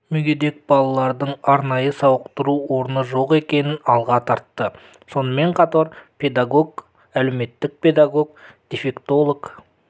мүгедек балалардың арнайы сауықтыру орны жоқ екенін алға тартты сонымен қатар педагог әлеуметтік педагог дефектолог